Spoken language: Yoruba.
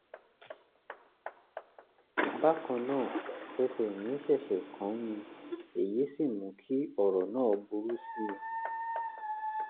bákan náà ẹṣẹ̀ mí ṣẹ̀ṣẹ̀ kán ni èyí sì mú kí ọ̀rọ̀ náà burú sí i